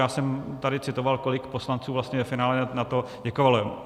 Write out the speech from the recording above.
Já jsem tady citoval, kolik poslanců vlastně ve finále na to děkovalo.